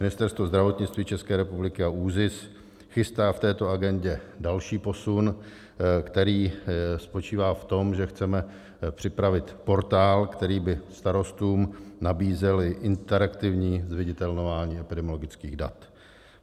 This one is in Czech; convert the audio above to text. Ministerstvo zdravotnictví České republiky a ÚZIS chystají v této agendě další posun, který spočívá v tom, že chceme připravit portál, který by starostům nabízel interaktivní zviditelňování epidemiologických dat.